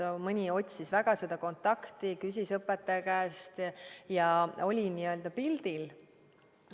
Mõni otsis väga seda kontakti, küsis õpetaja käest ja oli n-ö pildil.